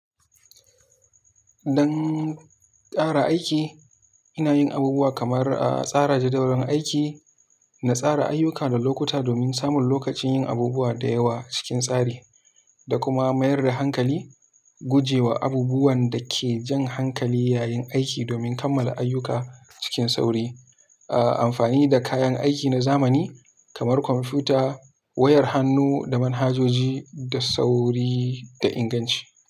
Dan kara aiki, inayin abubuwa kamar a tsara jadawalin aiki na tsara ayyuka da lokuta domin samun lokacin yin abubuwa dayawa cikin tsari, da kuma mayar da hankali, gujewa abubuwan dake jan hankali yayin aiki domin kammala ayyuka cikin sauri, a amfanida kayan aiki na zamani kamar kwamfuta, wayar hannu da manhajoji da sauri da inganci.